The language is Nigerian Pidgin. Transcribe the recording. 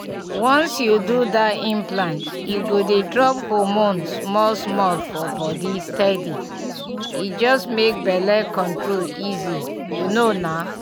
once you do that implant e go dey drop hormone small-small for body steady — e just make belle control easy you know na!